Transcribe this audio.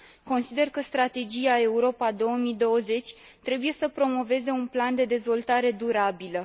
Consider că strategia Europa 2020 trebuie să promoveze un plan de dezvoltare durabilă.